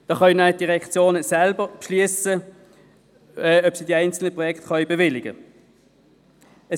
So können die Direktionen selber beschliessen, ob sie die einzelnen Projekte bewilligen können.